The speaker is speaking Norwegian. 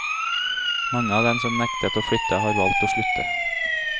Mange av dem som nektet å flytte har valgt å slutte.